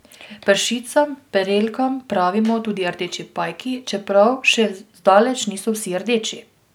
Pršicam prelkam pravimo tudi rdeči pajki, čeprav še zdaleč niso vsi rdeči.